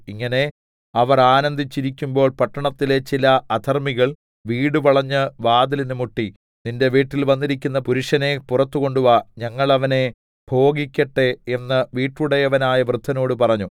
ഇങ്ങനെ അവർ ആനന്ദിച്ചിരിക്കുമ്പോൾ പട്ടണത്തിലെ ചില അധർമ്മികൾ വീട് വളഞ്ഞു വാതിലിന് മുട്ടി നിന്റെ വീട്ടിൽ വന്നിരിക്കുന്ന പുരുഷനെ പുറത്ത് കൊണ്ടുവാ ഞങ്ങൾ അവനെ ഭോഗിക്കട്ടെ എന്ന് വീട്ടുടയവനായ വൃദ്ധനോട് പറഞ്ഞു